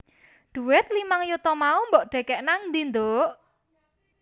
Dhuwit limang yuta mau mbok dhekek nangdi nduk?